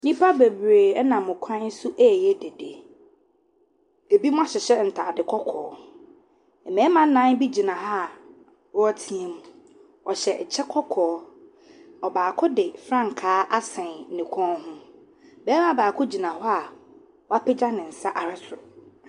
Nnipa bebree nam kwan so ɛreyɛ dede, binom ahyehyɛ ntaade kɔkɔɔ, mmarima nnan bi gyina ha a wɔretea mu, wɔhyɛ kyɛ kɔkɔɔ, ɔbaako de frankaa asɛn ne kɔn ho, barima baako gyina hɔ a wɔapagya ne nsa ahwɛ soro.